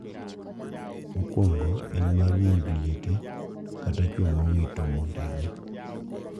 Mokuongo en mar mond liete kata chwo ma owito mondegi.